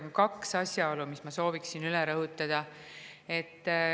Aga on kaks asjaolu, mis ma sooviksin üle rõhutada.